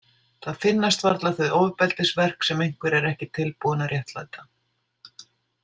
Það finnast varla þau ofbeldisverk sem einhver er ekki tilbúinn að réttlæta.